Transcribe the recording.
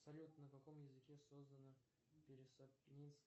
салют на каком языке создана